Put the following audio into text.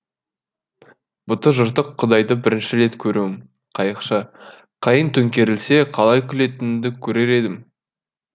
бұты жыртық құдайды бірінші рет көруім қайықшы қайық төңкерілсе қалай күлетініңді көрер едім